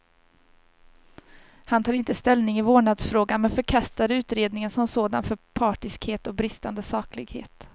Han tar inte ställning i vårdnadsfrågan, men förkastar utredningen som sådan för partiskhet och bristande saklighet.